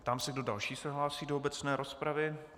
Ptám se, kdo další se hlásí do obecné rozpravy.